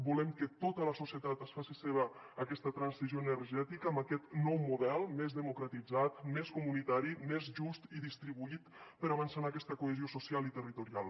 volem que tota la societat es faci seva aquesta transició energètica amb aquest nou model més democratitzat més comunitari més just i distribuït per avançar en aquesta cohesió social i territorial